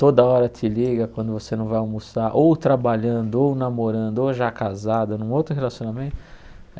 Toda hora te liga quando você não vai almoçar, ou trabalhando, ou namorando, ou já casado num outro relacionamento.